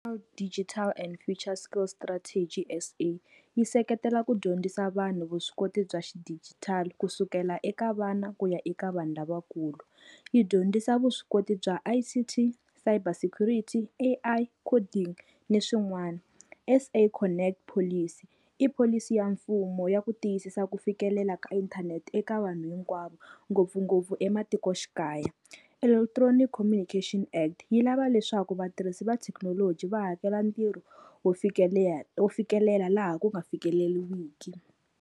Digital and Future Skills Strategy S_A yi seketela ku dyondzisa vanhu vuswikoti bya xidigitali kusukela eka vana ku ya eka vanhu lavakulu. Yi dyondzisa vuswikoti bya I_C_T, Fiber Security, A_I, Coding ni swin'wana. S_A Connect Policy i pholisi ya mfumo ya ku tiyisisa ku fikelela ka inthanete eka vanhu hinkwavo, ngopfungopfu ematikoxikaya. Electronic Communication Act yi lava leswaku vatirhisi va thekinoloji va hakela ntirho wo wo fikelela laha ku nga fikeleliwiki.